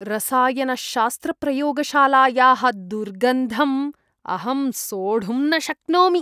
रसायनशास्त्रप्रयोगशालायाः दुर्गन्धम् अहं सोढुं न शक्नोमि।